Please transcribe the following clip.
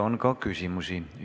Teile on ka küsimusi.